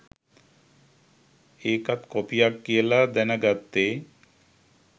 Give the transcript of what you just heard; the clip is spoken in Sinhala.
ඒකත් කොපියක් කියලා දැන ගත්තේ.